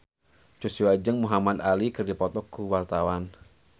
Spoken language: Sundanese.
Joshua jeung Muhamad Ali keur dipoto ku wartawan